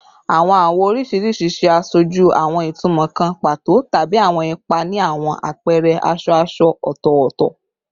Awọn awọ oriṣiriṣi ṣe aṣoju awọn itumọ kan pato tabi awọn ipa ni awọn apẹrẹ aṣọ aṣọ ọtọtọ